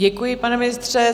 Děkuji, pane ministře.